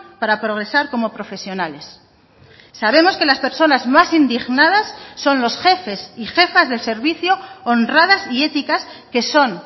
para progresar como profesionales sabemos que las personas más indignadas son los jefes y jefas de servicio honradas y éticas que son